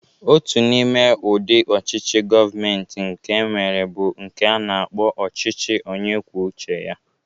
Otu n'ime udị ọchịchị Govmenti nke enwere bụ nke a na-akpọ ọchịchị onyekwucheya.